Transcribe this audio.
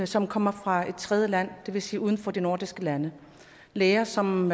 som kommer fra et tredjeland det vil sige uden for de nordiske lande læger som